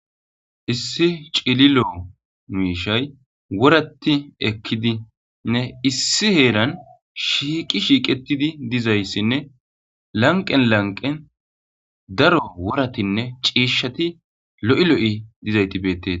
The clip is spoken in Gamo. Issi cililo miishshay woraththi ekidinne issi heeran shiiqi shiiqeththidi dizayssinne lanqqen lanqqen daro worathinne ciishshathi lo7i lo7i dizaythi beeththes.